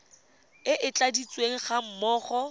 e e tladitsweng ga mmogo